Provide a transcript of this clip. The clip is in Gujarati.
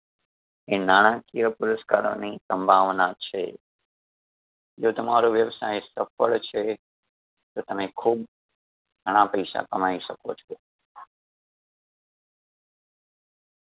એ નાણાકીય પુરસ્કારો ની સંભાવના છે. જો તમારો વ્યવસાય સફળ છે . તો તમે ખૂબ ઘણા પૈસા કમાઈ શકો છો.